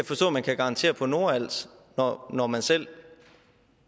forstå at man kan garantere på nordals når man selv